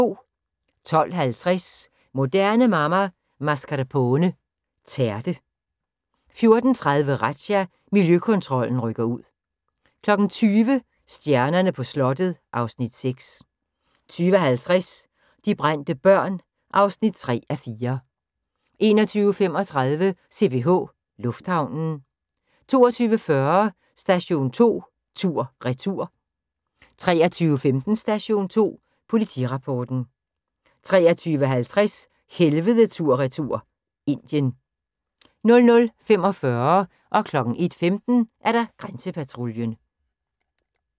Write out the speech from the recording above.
12:50: Moderne Mamma – Mascarpone tærte 14:30: Razzia – Miljøkontrollen rykker ud 20:00: Stjernerne på slottet (Afs. 6) 20:50: De brændte børn (3:4) 21:35: CPH Lufthavnen 22:40: Station 2 tur/retur 23:15: Station 2 Politirapporten 23:50: Helvede tur/retur – Indien 00:45: Grænsepatruljen 01:15: Grænsepatruljen